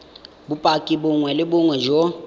bopaki bongwe le bongwe jo